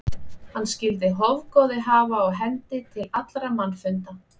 Hann skyldi hofgoði hafa á hendi til allra mannfunda.